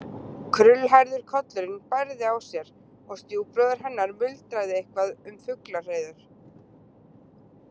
Krullhærður kollurinn bærði á sér og stjúpbróðir hennar muldraði eitthvað um fuglahreiður.